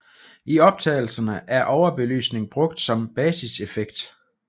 I optagelserne er overbelysning brugt som basiseffekt